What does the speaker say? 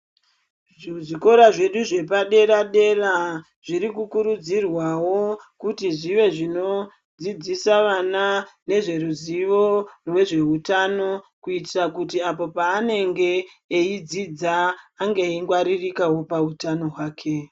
Zvikora zvedu zvepadera dera zvirikukurudzirwawo kuti zvive zvino zvinodzidzisa vana nezveruzivo rwezvehutano kuitira kuti apo paanenge eyidzidza ange eyingwaririkawo pahutano hwake.